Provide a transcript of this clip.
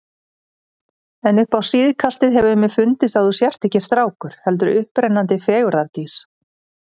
En upp á síðkastið hefur mér fundist að þú sért ekki strákur, heldur upprennandi fegurðardís.